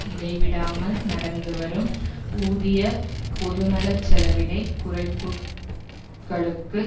இடைவிடாமல் நடந்துவரும் ஊதிய பொதுநல செலவின குறைப்புக்களுக்கு